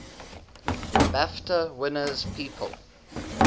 bafta winners people